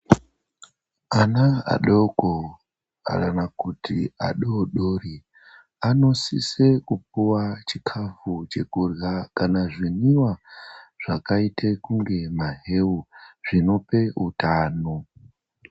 Ana adoko kana kuti adoodori anosise kupiwe chikafu chekurya kana kuti zvimwiva zvakaite kunge maheu zvinope utano.